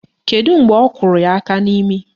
Kedu mgbe ọ kụrụ ya aka n'imi?